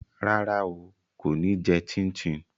Rárá o, kò ní jẹ chin chin